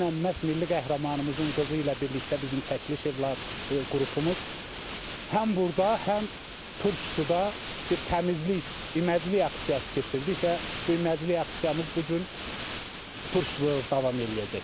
Dünən məhz milli qəhrəmanımızın qızı ilə birlikdə bizim çəkiliş qrupumuz həm burda, həm turş suda bir təmizlik, iməclik aksiyası keçirdik və bu iməclik aksiyamız bu gün turşuda davam eləyəcək.